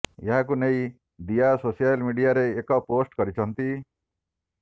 ଏହାକୁ ନେଇ ଦିୟା ସୋସିଆଲ ମିଡିଆରେ ଏକ ପୋଷ୍ଟ କରିଛନ୍ତି